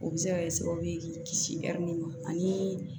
O bɛ se ka kɛ sababu ye k'i kisi ani